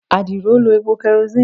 adiro lo epo kerosene